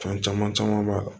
Fɛn caman caman b'a la